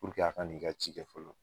a ka n'i ka ci kɛ fɔlɔ.